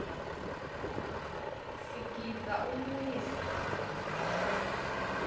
sigidza umiso